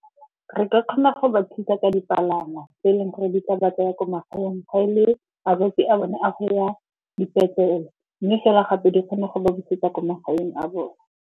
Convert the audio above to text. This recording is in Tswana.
Re ka kgona go ba thusa ka dipalangwa tse eleng gore di ka ba tsaya ko magaeng ga e le a bone a go ya dipetlele. Mme fela gape di kgone go ba busetsa ko magaeng a bone.